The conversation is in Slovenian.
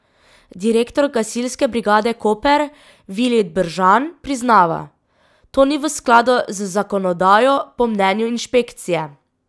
Direktor Gasilske brigade Koper Vilij Bržan priznava: "To ni v skladu z zakonodajo, po mnenju inšpekcije.